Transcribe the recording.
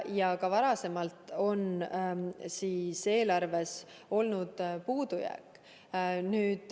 Ja ka varasemalt on eelarves olnud puudujääk.